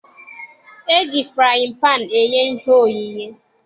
E ji frayịn paanụ eye ihe oyiye.